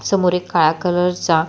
समोर एक काळ्या कलर चा--